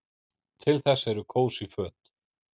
Til þess eru kósí föt.